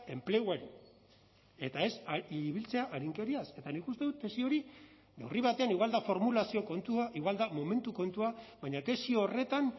enpleguari eta ez ibiltzea arinkeriaz eta nik uste dut tesi hori neurri batean igual da formulazio kontua igual da momentu kontua baina tesi horretan